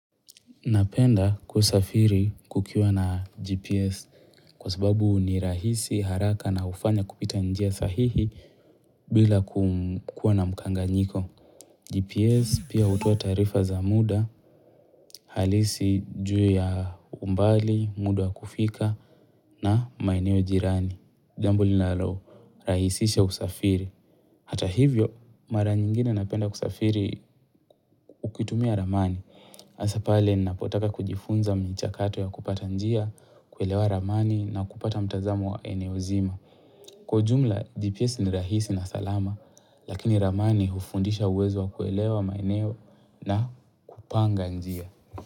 Napenda kusafiri kukiwa na GPS kwa sababu ni rahisi haraka na hufanya kupita njia sahihi bila kukuwa na mkanganyiko. GPS pia hutuoa taarifa za muda, halisi juu ya umbali, muda wa kufika na maeneo jirani. Jambo linalorahisisha usafiri. Hata hivyo, mara nyingine napenda kusafiri ukitumia ramani. Hasa pale, ninapotaka kujifunza michakato ya kupata njia, kuelewa ramani na kupata mtazamo wa eneo zima. Kwa ujumla, GPS ni rahisi na salama, lakini ramani hufundisha uwezo wa kuelewa maeneo na kupanga njia.